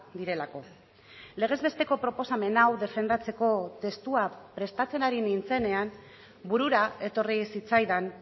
direlako legez besteko proposamen hau defendatzeko testua prestatzen ari nintzenean burura etorri zitzaidan